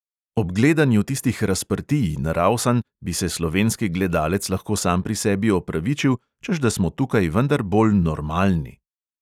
Ob gledanju tistih razprtij in ravsanj bi se slovenski gledalec lahko sam pri sebi opravičil, češ da smo tukaj vendar bolj "normalni"...